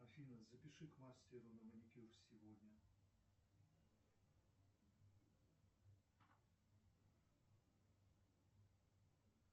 афина запиши к мастеру на маникюр сегодня